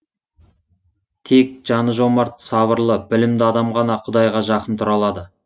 тек жаны жомарт сабырлы білімді адам ғана құдайға жақын тұра алады